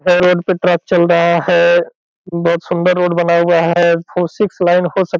यह रोड पे ट्रक चल रहा है बहोत सुंदर रोड बना हुआ है फोर सिक्स लाइन हो सक --